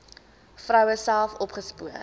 vroue self opgespoor